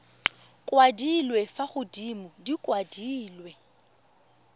kwadilwe fa godimo di kwadilwe